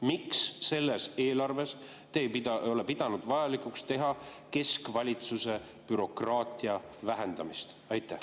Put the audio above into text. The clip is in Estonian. Miks selles eelarves te ei ole pidanud vajalikuks teha keskvalitsuse bürokraatia vähendamist?